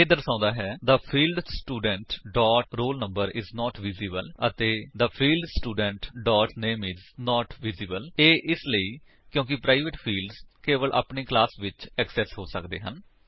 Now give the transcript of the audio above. ਇਹ ਦਰਸੋੰਦਾ ਹੈ the field student dot roll number is not visible ਅਤੇ the field student dot name is not visible ਇਹ ਇਸਲਈ ਕਿਉਂਕਿ ਪ੍ਰਾਇਵੇਟ ਫਿਲਡਸ ਕੇਵਲ ਆਪਣੇ ਕਲਾਸ ਵਿੱਚ ਐਕਸੇਸ ਹੋ ਸੱਕਦੇ ਹਨ